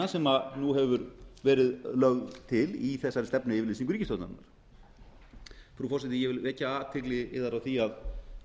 afskriftahugmyndina sem nú hefur verið lögð til í þessari stefnuyfirlýsingu ríkisstjórnarinnar frú forseti ég vil vekja athygli yðar á því að